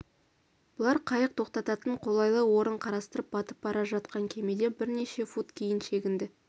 бұлар қайық тоқтататын қолайлы орын қарастырып батып бара жатқан кемеден бірнеше фут кейін шегінді